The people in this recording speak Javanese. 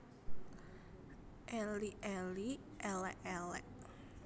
Elik elik élék élék